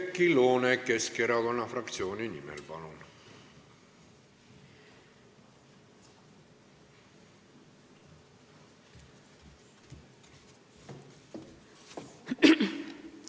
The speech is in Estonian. Oudekki Loone Keskerakonna fraktsiooni nimel, palun!